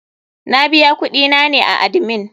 Na biya kuɗi na ne a admin.